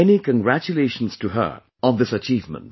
Many congratulations to her on this achievement